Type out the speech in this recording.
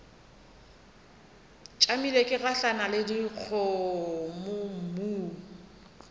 tšamile ke gahlana le dikgomommuu